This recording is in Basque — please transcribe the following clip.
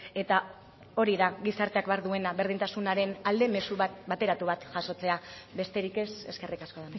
eta hori da gizarteak behar duena berdintasunaren alde mezu bateratu bat jasotzea besterik ez eskerrik asko